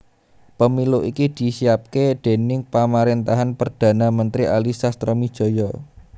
Pemilu iki disiapaké déning pamaréntahan Perdhana Mentri Ali Sastroamidjojo